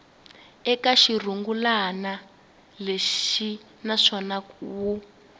eka xirungulwana lexi naswona wu